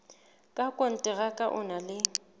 ka rakonteraka o na le